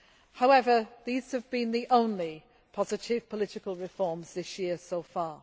However, these have been the only positive political reforms this year so far.